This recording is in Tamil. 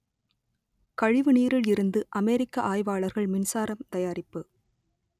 கழிவு நீரில் இருந்து அமெரிக்க ஆய்வாளர்கள் மின்சாரம் தயாரிப்பு